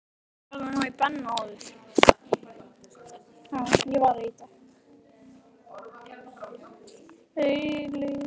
Ég varð að ná í Benna áður.